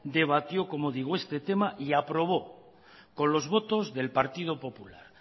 debatió este tema y aprobó con los votos del partido popular